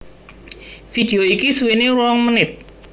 Vidéo iki suwéné rong menit